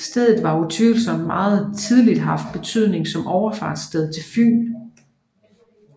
Stedet har utvivlsomt meget tidligt haft betydning som overfartssted til Fyn